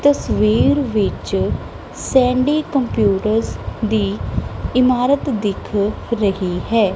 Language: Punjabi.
ਤਸਵੀਰ ਵਿੱਚ ਸੈਂਡੀ ਕੰਪਿਊਟਰ ਦੀ ਇਮਾਰਤ ਦਿਖ ਰਹੀ ਹੈ।